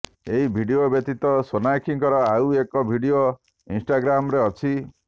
ଏହି ଭିଡିଓ ବ୍ୟତୀତ ସୋନାକ୍ଷୀଙ୍କର ଆଉ ଏକ ଭିଡିଓ ଇନ୍ଷ୍ଟାଗ୍ରାମରେ ଅଛି